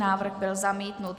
Návrh byl zamítnut.